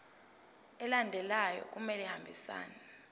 alandelayo kumele ahambisane